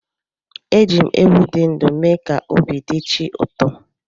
Eji m ewu dị ndụ mee ka obi dị chi ụtọ.